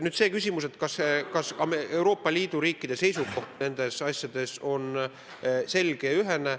Nüüd see küsimus, kas Euroopa Liidu riikide seisukoht nendes asjades on selge ja ühene.